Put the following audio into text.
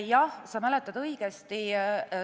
Jah, sa mäletad õigesti.